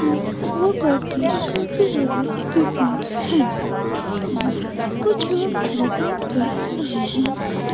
Workout के काफी सारे इक्विपमेंट हे और कुछ लोग वर्कआउट कर रहे हैं।